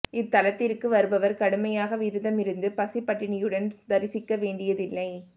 இத்தலத்திற்கு வருபவர் கடுமையாக விரதமிருந்து பசி பட்டினியுடன் தரிசிக்க வேண்டியதில்லை